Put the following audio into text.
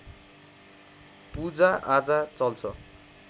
पूजाआजा चल्छ